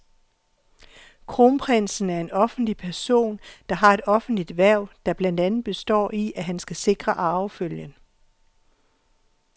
Kronprinsen er en offentlig person, der har et offentligt hverv, der blandt andet består i, at han skal sikre arvefølgen.